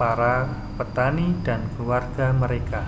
para petani dan keluarga mereka